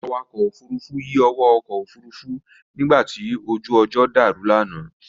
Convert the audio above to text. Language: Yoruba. Awakọ̀ ọkọ̀ Òfurufú yí owó ọkọ̀ Òfurufú nígbàtí ojú ọjọ́ dàrú lánàá